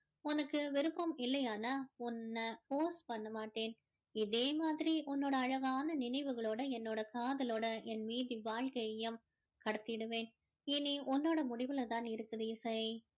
உனக்கு விருப்பம் இல்லையானா உன்ன force பண்ணமாட்டேன் இதே மாதிரி உன்னோட அழகான நினைவுகளோட என்னோட காதலோட என் மீதி வாழ்கையையும் கடத்திடுவேன் இனி உன்னோட முடிவுல தான் இருக்குது இசை